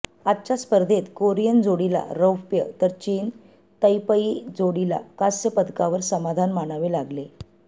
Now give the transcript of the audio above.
आजच्या स्पर्धेत कोरियन जोडीला रौप्य तर चीन तैपेई जोडीला कांस्य पदकावर समाधान मानावे लागले